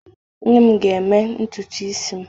Nne m ga-eme ntutu isi m.